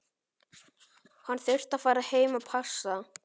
Hann þurfti að fara heim að passa.